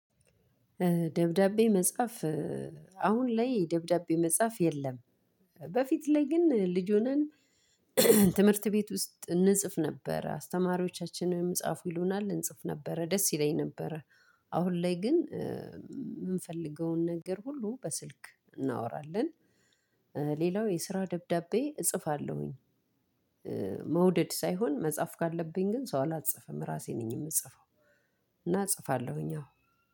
ደብዳቤ መጻፍ አሁን ላይ ደብዳቤ መጻፍ የለም። በፊት ላይ ግን ልጅ ሆነን ትምህርት ቤት ውስጥ እንጽፍ ነበረ አስተማሪዎቻችንም ጻፉ ይሉናል እንጽፍ ነበረ ደስ ይለኝ ነበረ። አሁን ላይ ግን የምንፈልገውን ነገር ሁሉ በስልክ እናወራለን። ሌላው የስራ ደብዳቤ እጽፋለሁ። መውደድ ሳይሆን መጻፍ ካለብኝም ሰው አላስጽፍም ራሴ ነኝ የምጽፈው። እና እጽፋለሁኝ አዎ